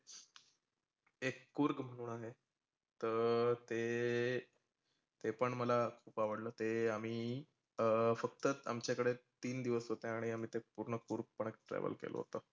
एक कुर्ग म्हणून आहे. तर ते ते पण मला आवडलं ते आम्ही अं फक्त आमच्या कडे तीन दिवस होते आणि आम्ही ते पुर्ण कुर्ग पण एक travel केलं होतं.